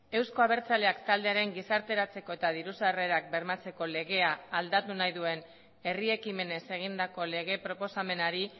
euzko abertzaleak taldearen gizarteratzeko eta diru sarrerak bermatzeko legea aldatu nahi duen herri ekimenez egindako lege proposamenari